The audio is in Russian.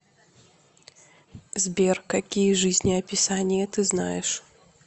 сбер какие жизнеописание ты знаешь